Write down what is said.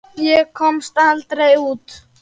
Ég komst aldrei út.